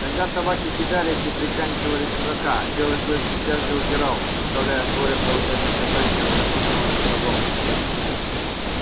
тогда собаки кидались и приканчивали чужака а белый клык сейчас же удирал представляя своре получать наказание от разгневанных богов